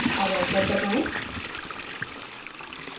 अब enter दबाएं